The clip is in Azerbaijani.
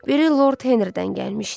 Biri Lord Henridən gəlmişdi.